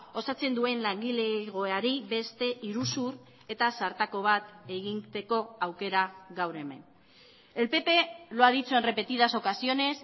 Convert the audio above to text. osatzen duen langilegoari beste iruzur eta zartako bat egiteko aukera gaur hemen el pp lo ha dicho en repetidas ocasiones